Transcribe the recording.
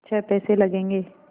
छः पैसे लगेंगे